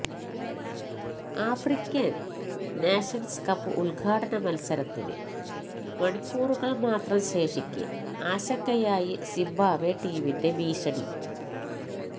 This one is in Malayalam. ആഫ്രിക്കൻ നേഷൻസ് കപ്പ് ഉദ്ഘാടന മത്സരത്തിന് മണിക്കൂറുകൾ മാത്രം ശേഷിക്കെ ആശങ്കയായി സിംബാവെ ടീമിന്റെ ഭീഷണി